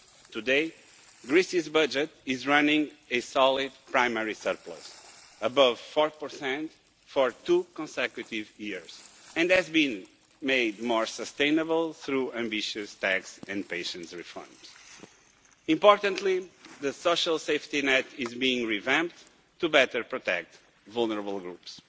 Today, Greece's budget is running a solid primary surplus, above 4 for two consecutive years, and has been made more sustainable through ambitious taxation and patient reforms. Importantly, the social safety net is being revamped to better protect vulnerable groups.